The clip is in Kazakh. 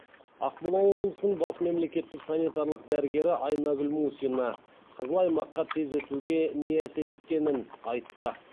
ақмола облысының бас мемлекеттік санитарлық дәрігері айнагүл мусина қызыл аймаққа тез өтуге не әсер еткенін айтты